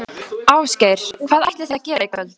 Ásgeir: Hvað ætlið þið að gera í kvöld?